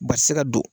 Ba ti se ka don